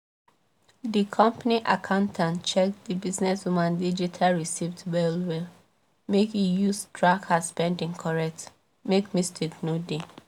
di company accountant check the businesswoman digital receipts well well make e use track her spending correct make mistake no dey